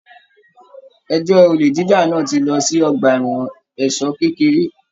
Ẹjọ olè jíjà náà tí lọ sí ọgbà ẹwọn ẹ̀ṣọ kékeré.